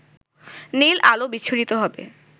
নীল আলো বিচ্ছুরিত হবে